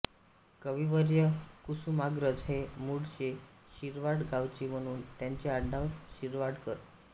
कविवर्य कुसुमाग्रज हे मूळचे शिरवाड गावचे म्हणून त्यांचे आडनाव शिरवाडकर